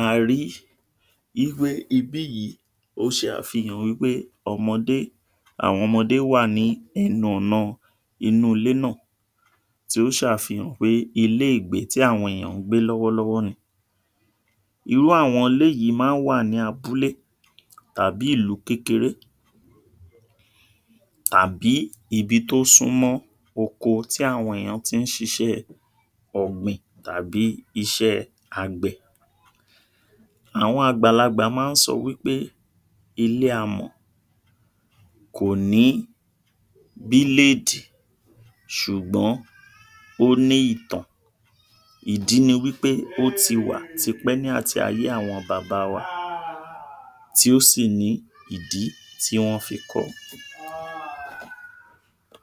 a ri ípé ibí yìí ó ṣe àfihàn wípé ọmọdé àwọn ọmọdé wà ní ẹnu ọ̀na inú ilé náà tí ó ṣàfihàn pé ilé ìgbé tí àwọn èyàn ń gbé lọ́wọ́lọ́wọ́ ni. Irú àwọn ilé yìí máa ń wà ní abúlé tàbí ìlú kékeré tàbí ibi tó súmọ́ oko tí àwọn èyàn ti ń ṣiṣẹ́ ọ̀gbìn tàbí iṣẹ́ àgbẹ̀. Àwọn àgbàlagbà máa ń sọwípé ilé amọ̀ kò ní bíléèdì ṣùgbọ́n ó ní ìtàn. Ìdí ní wípé ó ti wà tipẹ́ ní àti ayé àwọn bàbá wa tí ó sì ni ìdí tí wọ́n fi kọ.